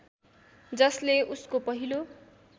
जसले उसको पहिलो